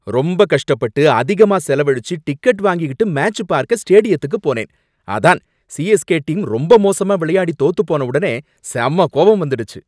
ரொம்ப கஷ்டப்பட்டு அதிகமா செலவழிச்சு டிக்கெட் வாங்கிக்கிட்டு மேட்ச பார்க்க ஸ்டேடியத்துக்கு போனேன், அதான் சிஎஸ்கே டீம் ரொம்ப மோசமா விளையாடி தோத்து போன ஒடனே செம கோவம் வந்துடுச்சு.